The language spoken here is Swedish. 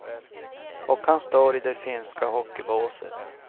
Och han står i det finska hockeybåset.